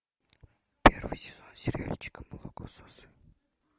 первый сезон сериальчика молокососы